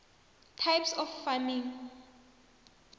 types of farming